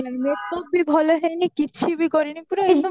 makeup ବି ଭଲ ହେଈନି କିଛି ବି କରିନି ପୁରା ଏକଦମ